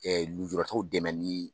nujuratɔw dɛmɛnni